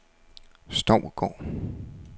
Stovgård